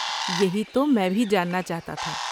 یہی تو میں بھی جاننا چاہتا تھا۔